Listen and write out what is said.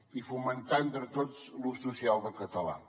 i fomentar entre tots l’ús social del català